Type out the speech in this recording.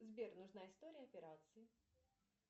сбер нужна история операций